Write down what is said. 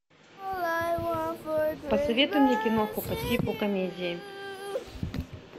посоветуй мне киноху по типу комедии